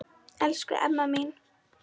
Elsku Emma mín.